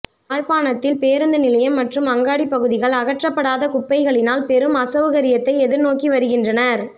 யாழ்ப்பணத்தில் பேருந்துநிலையம் மற்றும் அங்காடி பகுதிகள் அகற்றப்படாத குப்பைகளினால் பெரும் அசௌகரியத்தை எதிர்நோக்கி வருகின்றனர்